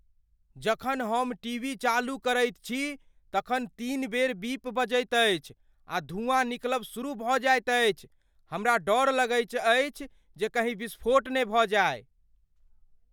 जखन हम टीवी चालू करैत छी, तखन तीन बेर बीप बजैत अछि आ धुआँ निकलब शुरू भऽ जाएत अछि। हमरा डर अछि जे कहीं विस्फोट न भ जाइ ।